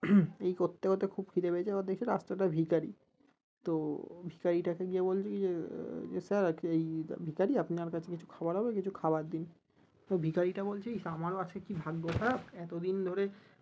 এই করতে করতে খুব খিদে পেয়েছে এবার দেখছে রাস্তায় একটা ভিক্ষারি তো ভিক্ষারিটাকে গিয়ে বলছে কি যে আহ যে sir আজকে এই ভিক্ষারী আপনার কাছে কিছু খাবার হবে কিছু খাবার দিন? তো ভিক্ষারীটা বলছে ইশ আমারও আজকে কি ভাগ্য খারাপ এতদিন ধরে